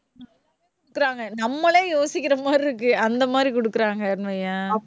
நம்மளே யோசிக்கிற மாதிரி இருக்கு. அந்த மாதிரி கொடுக்குறாங்கன்னு வையேன்